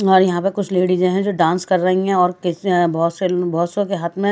और यहां पर कुछ लेडीज हैं जो डांस कर रही हैं और बहुत से बहुतसों के हाथ में--